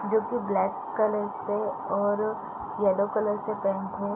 जो की black colour से और येलो कलर से पेंट है।